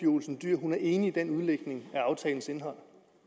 olsen dyhr er enig i den udlægning af aftalens indhold